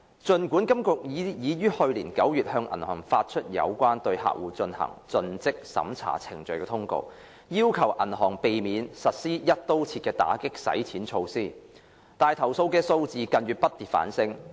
儘管金管局已於去年9月向銀行發出有關對客戶進行盡職審查程序的通告，要求銀行避免實施"一刀切"的打擊洗錢措施，投訴數字近月不跌反升。